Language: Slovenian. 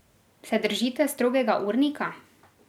Se držite strogega urnika?